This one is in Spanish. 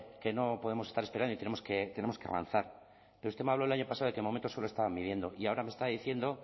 que no podemos estar esperando y tenemos que avanzar pero usted me habló el año pasado de que de momento solo estaba midiendo y ahora me está diciendo